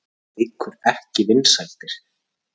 Það eykur ekki vinsældir.